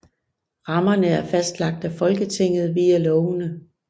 Rammerne er fastlagt af Folketinget via lovene